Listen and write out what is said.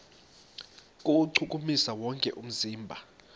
kuwuchukumisa wonke umzimba